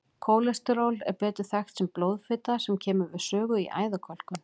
Kólesteról er betur þekkt sem blóðfita sem kemur við sögu í æðakölkun.